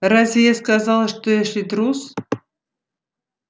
а разве я сказала что эшли трус